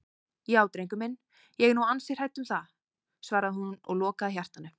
Já drengur minn, ég er nú ansi hrædd um það, svaraði hún og lokaði hjartanu.